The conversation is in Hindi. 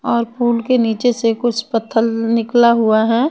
और पूल के निचेसे कुछ पत्थर निकला हुआ है।